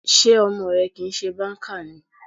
Sé ọmọ rẹ kìí ṣe banker ni?